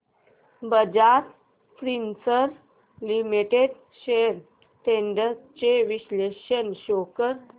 Bajaj Finserv limited shares trends चे विश्लेषण show कर